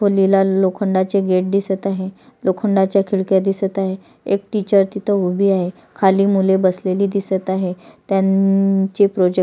खोलीला लोखंडाचे गेट दिसत आहे लोखंडाच्या खिडक्या दिसत आहेत एक टीचर तिथ उभी आहे खाली मुले बसलेली दिसत आहेत त्यांचे प्रोजेक्ट --